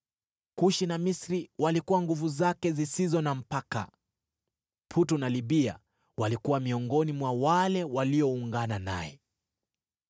Kushi na Misri walikuwa nguvu zake zisizo na mpaka; Putu na Libia walikuwa miongoni mwa wale walioungana naye.